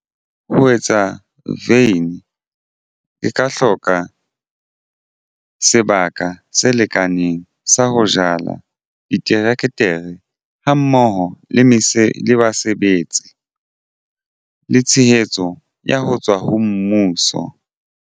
Ho etsa vein ke ka hloka sebaka se lekaneng sa ho jala diterekere ha mmoho le mese le basebetsi le tshehetso ya ho tswa ho mmuso.